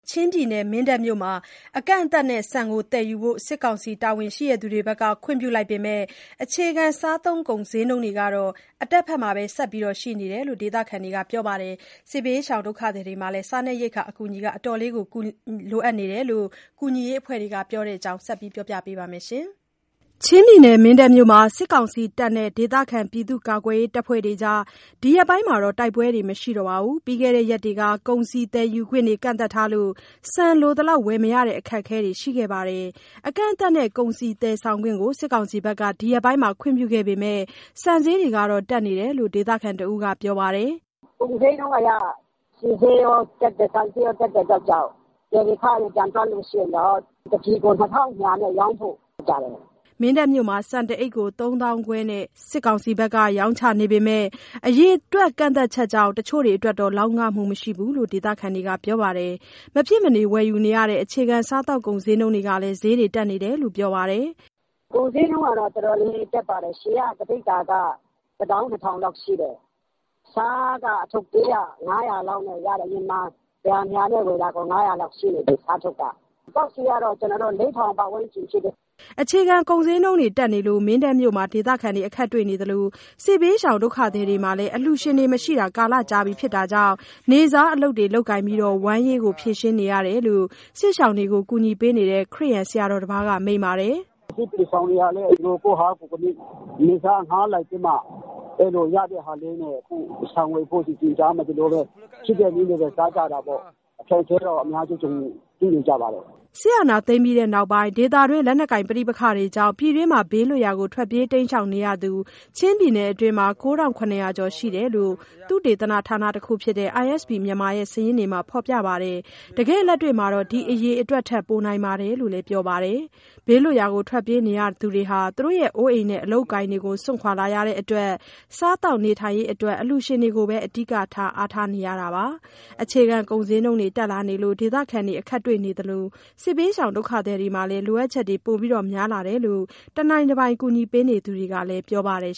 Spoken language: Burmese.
ချင်းပြည်နယ်၊ မင်းတပ်မြို့မှာ အကန့်အသတ်နဲ့ဆန်သယ်ယူဖို့ စစ်ကောင်စီ တာဝန်ရှိသူတွေဘက်က ခွင့်ပြုလိုက်ပေမယ့် အခြေခံစားသုံးကုန်ဈေးနှုန်းတွေကတော့ အတက်ဘက်မှာသာ ဆက်ရှိနေပါတယ်လို့ ဒေသခံတွေက ပြောပါတယ်။ စစ်ဘေးရှောင်ဒုက္ခသည်တွေလည်း စားနပ်ရိက္ခာအကူအညီတွေ အတော်လေးလိုအပ်နေတယ်လို့ ကူညီရေးအဖွဲတွေက ပြောပါတယ်။ ဒီအကြောင်း သတင်းပေးပို့ချက်ကို မဆုမွန်က တင်ပြပေးထားပါတယ်။ ချင်းပြည်နယ်၊ မင်းတပ်မြို့မှာ စစ်ကောင်စီနဲ့ ဒေသခံကာကွယ်ရေး အဖွဲ့တွေကြား ဒီရက်ပိုင်း တိုက်ပွဲတွေ မရှိတော့ပါဘူး။ ပြီးခဲ့တဲ့ရက်တွေက ကုန်စည်သယ်ယူခွင့် ကန့်သတ်ထားလို့ ဆန်လိုသလောက် ဝယ်မရတဲ့အခက်အခဲတွေ ရှိခဲ့ပါတယ်။ အကန့်အသတ်နဲ့ ကုန်စည်သယ်ဆောင်ခွင့်ကို စစ်ကောင်စီဘက်က ဒီရက်ပိုင်း ခွင့်ပြုခဲ့ပေမယ့် ဆန်ဈေးတွေကတော့ တက်နေတယ်လို့ ဒေသခံတဦးက ပြောပါတယ်။ "ကုန်ဈေးနှုန်းအရ ဆီဈေးရော၊ ဆန်ဈေးရောတက်တဲ့အတွက်ကြောင့် သယ်ယူခတွေ ပြန်တွက်လို့ရှိရင်တော့ ဆန် ၁ ပြည်ကို ၂,၂၀၀ နဲ့ရောင်းဖို့ လုပ်နေတယ် ကြားတယ်။" မင်းတပ်မြို့မှာ ဆန်တအိတ်ကို ၃၅,၀၀၀ ကျပ်နဲ့ စစ်ကောင်စီဘက်က ရောင်းချနေပေမယ့် အရေအတွက်ကန့်သတ်ချက်ကြောင့် တချို့တွေအတွက် လောက်ငမှုမရှိဘူးလို့ ဒေသခံတွေက ပြောပါတယ်။ မဖြစ်မနေဝယ်ယူနေရတဲ့ အခြေခံစားသောက်ကုန် ဈေးနှုန်းတွေလည်း တက်နေတယ်လို့ ပြောပါတယ်။ "ကုန်ဈေးနှုန်းကတော့ တော်တော်လေးတက်ပါတယ်။ စားဆီက တပိဿာ ၁၂,၀၀၀ လောက်ရှိတယ်။ ဆားက အရင်က ၁၀၀ - ၂၀၀ နဲ့ ဝယ်တဲ့အထုပ်သေးက အခု ၅၀၀ ရှိနေပြီ။ စက်သုံးဆီကတော့ ၄,၀၀၀ ပတ်ဝန်းကျင်ရှိတယ်။" အခြေခံကုန်ဈေးတွေ တက်နေလို့ မင်းတပ်မြို့မှာ ဒေသခံတွေ အခက်တွေ့နေသလို စစ်ဘေးရှောင်ဒုက္ခသည်တွေမှာလည်း အလှူရှင်မရှိတာ ကာလကြာပြီဖြစ်တာကြောင့် နေ့စားအလုပ်တွေ လုပ်ကိုင်ပြီး ဝမ်းရေးဖြေရှင်းနေရတယ်လို့ စစ်ရှောင်ကူညီနေသူ ခရစ်ယာန်ဆရာတော်တပါးက မိန့်ပါတယ်။ "စစ်ဘေးရှောင်တွေလည်း သူတို့ ကိုယ့်အားကိုယ်ကိုးပြီး နေ့စားအငှားလိုက်ပြီးမှ ရတဲ့ဟာလေးနဲ့ ဆန်ဝယ်ပြီး ရှိတာလေးနဲ့ပဲ စားကြတာပေါ့။ အခက်အခဲတော့ အများကြီးကြုံနေ တွေ့နေကြပါတယ်။" စစ်အာဏာသိမ်းပြီးနောက်ပိုင်း ဒေသတွင်း လက်နက်ကိုင်ပဋိပက္ခတွေကြောင့် ပြည်တွင်းမှာ ဘေးလွတ်ရာထွက်ပြေးနေရသူက ချင်းပြည်နယ်မှာ ၉,၇၀၀ ကျော်ရှိတယ်လို့ သုတေသနဌာနတခုဖြစ်တဲ့ ISP Myanmar ရဲ့ စာရင်းတွေမှာ ဖေါ်ပြပါတယ်။ တကယ့်လက်တွေ့မှာ ဒီအရေအတွက်ထက် ပိုနိုင်တယ်လို့လည်း ပြောပါတယ်။ ဘေးလွတ်ရာ ထွက်ပြေးနေရသူတွေမှာ အိုးအိမ်နဲ့ အလုပ်အကိုင်တွေ စွန့်လာရလို့ စားသောက်နေထိုင်ရေးအတွက် အလှူရှင်ကိုသာ အဓိက အားထားနေရတာပါ။ အခြေခံကုန်ဈေးနှုန်းတွေ တက်လာနေလို့ ဒေသခံတွေ အခက်တွေ့ေ နေသလို စစ်ဘေးရှောင်ဒုက္ခသည်တွေမှာလည်း လိုအပ်ချက်တွေ ပိုပြီးများလာတယ်လို့ တနိုင်တပိုင် ကူညီပေးနေသူတွေကလည်း ပြောပါတယ်